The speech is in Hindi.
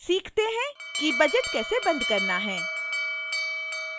सीखते हैं कि budget कैसे बंद करना है